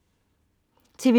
TV2: